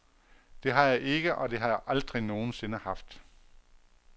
Det har jeg ikke, og det har jeg aldrig nogen sinde haft.